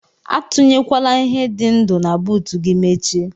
Atinyekwana ihe di ndu na buut gi mechie.